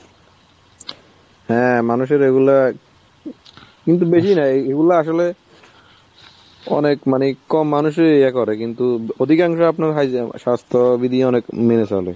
হ্যাঁ, মানুষের এগুলা, কিন্তু বেশি নাই. এগুলা আসলে অনেক মানে কম মানুষই ইয়ে করে কিন্তু অধিকাংশই আপনার হয় যে স্বাস্থ্যবিধি অনেক মেনে চলে.